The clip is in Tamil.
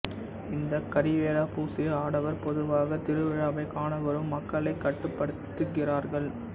இந்த கரிவேலா பூசிய ஆடவர் பொதுவாக திருவிழாவைக் காண வரும் மக்களைக் கட்டுப்படுத்துகிறார்கள்